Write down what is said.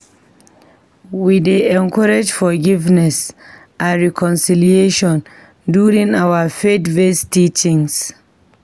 We dey encourage forgiveness and reconciliation during our faith-based teachings.